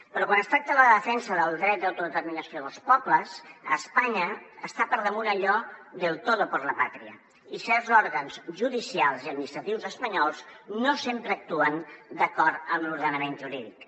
però quan es tracta la defensa del dret d’autodeterminació dels pobles a espanya està per damunt allò del todo por la patria i certs òrgans judicials i administratius espanyols no sempre actuen d’acord amb l’ordenament jurídic